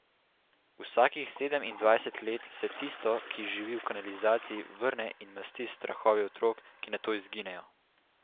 Vsakih sedemindvajset let se Tisto, ki živi v kanalizaciji, vrne in masti s strahovi otrok, ki nato izginejo.